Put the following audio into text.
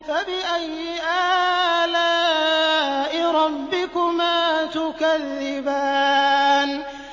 فَبِأَيِّ آلَاءِ رَبِّكُمَا تُكَذِّبَانِ